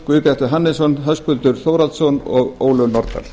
guðbjartur hannesson höskuldur þórhallsson og ólöf nordal